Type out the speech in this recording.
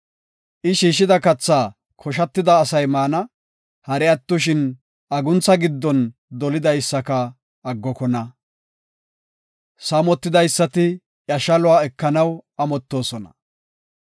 I shiishida kathaa koshatida asay maana; hari attoshin aguntha giddon dolidaysaka aggokona. Saamotidaysati iya shaluwa ekanaw amottoosona.